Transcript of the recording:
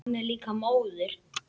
Hann er líka móður.